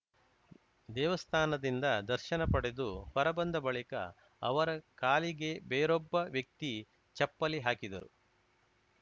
ದೇವಸ್ಥಾನದಿಂದ ದರ್ಶನ ಪಡೆದು ಹೊರ ಬಂದ ಬಳಿಕ ಅವರ ಕಾಲಿಗೆ ಬೇರೊಬ್ಬ ವ್ಯಕ್ತಿ ಚಪ್ಪಲಿ ಹಾಕಿದರು